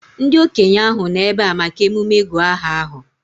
Ndị okenye ahụ nọ ebea maka emume ịgụ aha ahụ